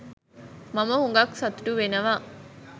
මම හුඟක් සතුටු වෙනවා.